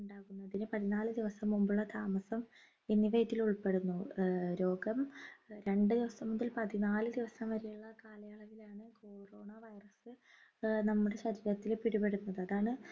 ഉണ്ടാകുന്നതിന് പതിനാല് ദിവസം മുമ്പുള്ള താമസം എന്നിവ ഇതിൽ ഉൾപ്പെടുന്നു ഏർ രോഗം രണ്ടു ദിവസം മുതൽ പതിനാല് ദിവസം വരെയുള്ള കാലയളവിലാണ് corona virus ഏർ നമ്മുടെ ശരീരത്തിൽ പിടിപെടുന്നത് അതാണ്